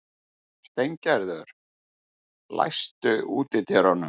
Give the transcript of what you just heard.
Steingerður, læstu útidyrunum.